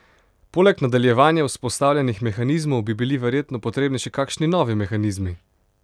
Poleg nadaljevanja vzpostavljenih mehanizmov bi bili verjetno potrebni še kakšni novi mehanizmi?